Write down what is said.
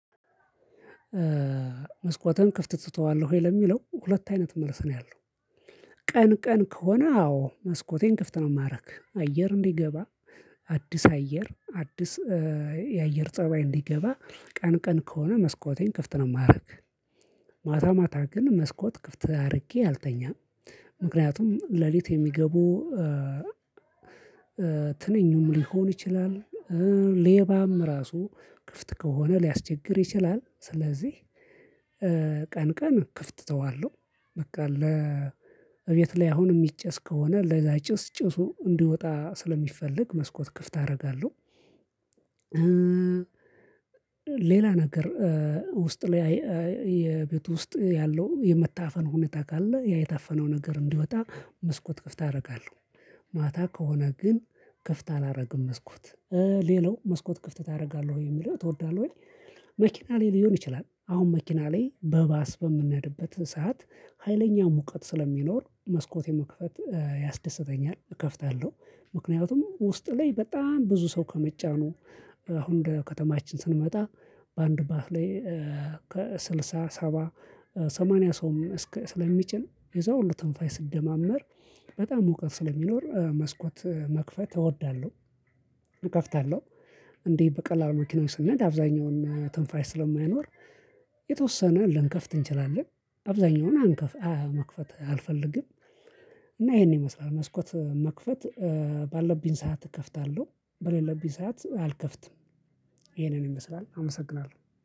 መስኮትን ክፍት ትተዋለህ ወይ? ለሚለው ሁለት አይነት መልስ ነው ያለው። ቀን ቀን ከሆነ አዎ መስኮቴን ክፍት ነው የማደርገው። አየር እንዲገባ አዲስ አየር አዲስ የ አየር ፀባይ እንዲገባ ቀን ቀን ከሆነ መስኮቴን ክፍት ነው የማደርገው። ማታ ማታ ግን መስኮት ክፍት አድርጌ አልተኛም ምክንያቱም ሌሊት የሚገቡ ትንኙም ሊሆን ይችላል ሌባም ራሱ ክፍት ከሆነ ሊያስቸግር ይችላል። ስለዚህ ቀን ቀን ክፍት እተዋለው በቃ ለእቤት ላይ አሁን የሚጨስ ከሆነ ለዛ ጭስ ጭሱ እንዲወጣ ስለሚፈልግ መስኮት ክፍት አደርጋለሁ። ሌላ ነገር ውስጥ ላይ የቤቱ ውስጥ ያለው የመታፈን ሁኔታ ካለ ያ የታፈነው ነገር እንዲወጣ መስኮት ክፍት አደርጋለሁ። ማታ ከሆነ ግን ክፍት አላደርግም። መስኮት ሌላው መስኮት ክፍት ታደርጋለህ የሚለው ትወዳለህ ወይ መኪና ላይ ሊሆን ይችላል አሁን መኪና ላይ በባስ በምንሄድበት ሰዓት ሀይለኛ ሙቀት ስለሚኖር መስኮት የመክፈት ያስደስተኛል፣ እከፍታለሁ ምክንያቱም ውስጥ ላይ በጣም ብዙ ሰው ከመጫኑ አሁን እንደ ከተማችን ስንመጣ በአንድ ባህር ላይ ከስልሳ ሰባ ሰማንያ ሰውም ስለሚጭን የእዛ ሁሉ ትንፋሽ ሲደማመር በጣም ሙቀት ስለሚኖር መስኮት መክፈት እወዳለሁ። እከፍታለሁ፣ እንዲህ በቀላሉ መኪናው ስንሄድ አብዛኛውን ትንፋሽ ስለማይኖር የተወሰነ ልንከፍት እንችላለን አብዛኛውን አንከፍ መክፈት አልፈልግም። እና ይሄን ይመስላል። መስኮት መክፈት ባለብኝ ሰዓት እከፍታለሁ። በሌለብኝ ሰዓት አልከፍትም። ይመስላል አመሰግናለሁ።